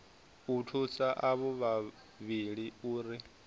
u thusa avho vhavhili uri